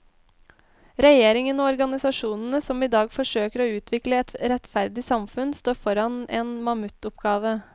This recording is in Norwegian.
Regjeringen og organisasjonene som i dag forsøker å utvikle et rettferdig samfunn står foran en mamuttoppgave.